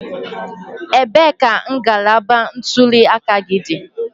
Ebee ka ngalaba ntuli aka gị dị?